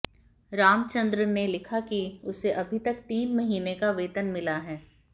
रामचंद्र ने लिखा कि उसे अभी तक तीन महीने का वेतन मिला है